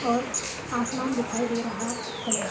और आसमान दिखाई दे रहा है।